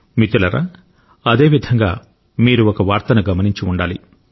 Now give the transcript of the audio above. మిత్రులారా అదే విధంగా మీరు ఒక వార్తను గమనించి ఉండాలి